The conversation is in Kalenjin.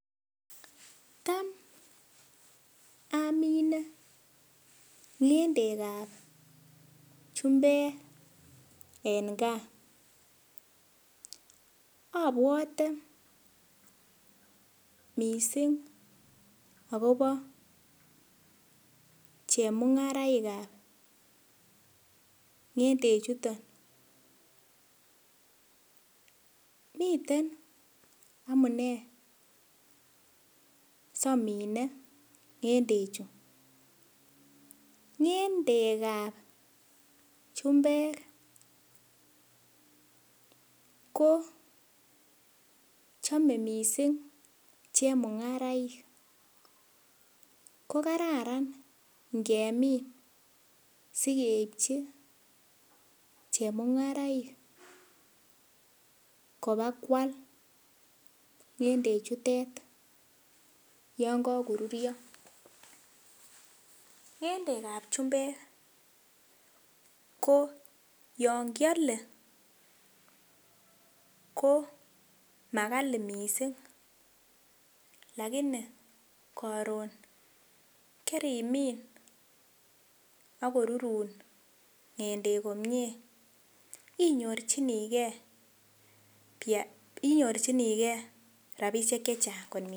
Tam amine ng'endekab chumbek en gaa abwote missing akobo chemung'araikab ng'ende chuto mitten amune si amine ng'endechu, ng'endekab chumbek kochome missing chemung'araik kokararan ngemin sikeipchi chemung'araik kobakwal ng'endechutet yon kakorurio, ng'endekab chumbek koo yon kiale koo makali missing lakini karon karimin ako rurun ng'endek komie inyorchinigee inyorchinigee rapisiek chechang konyil.